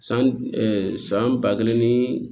San san ba kelen ni